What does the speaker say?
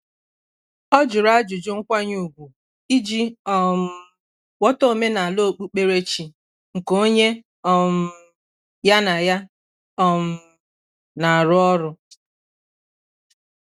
Ọ jụrụ ajụjụ nkwanye ùgwù iji um ghọta omenala okpukperechi nke onye um ya na ya um na-arụ ọrụ.